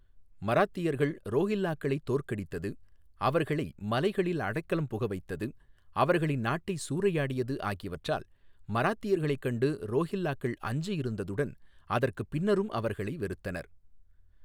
மராத்தியர்கள் ரோஹில்லாக்களைத் தோற்கடித்தது, அவர்களை மலைகளில் அடைக்கலம் புக வைத்தது, அவர்களின் நாட்டை சூறையாடியது ஆகியவற்றால் மராத்தியர்களைக் கண்டு ரோஹில்லாக்கள் அஞ்சியிருந்ததுடன் அதற்குப் பின்னரும் அவர்களை வெறுத்தனர்.